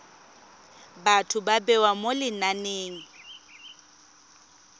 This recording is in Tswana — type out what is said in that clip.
batho ba bewa mo lenaneng